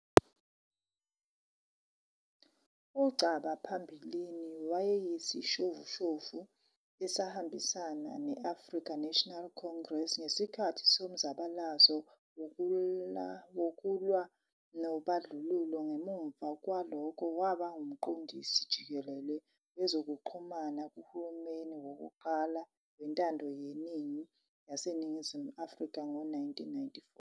UNgcaba phambilini wayeyisishoshovu esasihambisana ne- African National Congress ngesikhathi somzabalazo wokulwa nobandlululo, ngemuva kwalokho waba nguMqondisi Jikelele Wezokuxhumana kuhulumeni wokuqala wentando yeningi waseNingizimu Afrika ngo-1994.